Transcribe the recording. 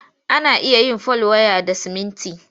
Ana iya yin fal waya da siminti.